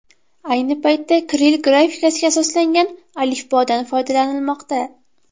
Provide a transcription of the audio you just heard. Ayni paytda kirill grafikasiga asoslangan alifbodan foydalanilmoqda.